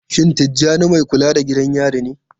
Shin Tijjani mai kula da gidan yari ne?